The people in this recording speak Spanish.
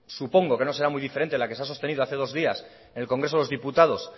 supongo que no será muy diferente a la que se ha sostenido hace dos días en el congreso de los diputados